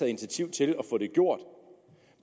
initiativ til at få det gjort